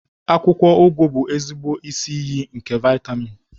Akwụkwọ ugu bụ ezigbo isi iyi nke vitamin.